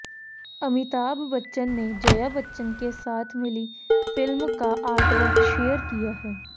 अमिताभ बच्चन नेजया बच्चन के साथ मिली फिल्म का आर्टवर्क शेयर किया है